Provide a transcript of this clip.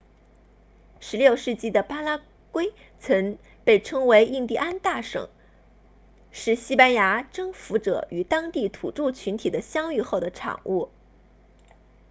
16世纪的巴拉圭曾被称为印第安大省是西班牙征服者与当地土著群体的相遇后的产物